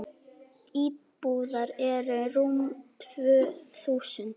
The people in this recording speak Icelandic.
Íbúar eru rúm tvö þúsund.